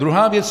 Druhá věc.